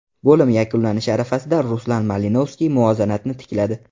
Bo‘lim yakunlanishi arafasida Ruslan Malinovskiy muvozanatni tikladi.